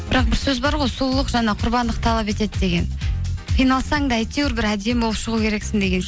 бірақ бір сөз бар ғой сұлулық жаңа құрбандық талап етеді деген қиналсаң да әйтеуір бір әдемі болып шығу керексің деген